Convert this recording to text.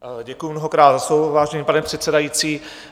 Děkuji mnohokrát za slovo, vážený pane předsedající.